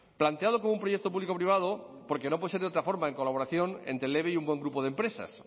planteado como un proyecto público privado porque no puede ser de otra forma en colaboración entre el eve y un buen grupo de empresas